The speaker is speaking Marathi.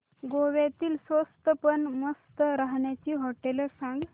गोव्यातली स्वस्त पण मस्त राहण्याची होटेलं सांग